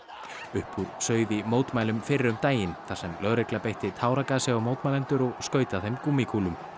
upp úr sauð í mótmælunum fyrr um daginn þar sem lögregla beitti táragasi á mótmælendur og skaut að þeim gúmmíkúlum